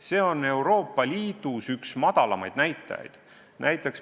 See on Euroopa Liidus üks kõige väiksemaid näitajaid.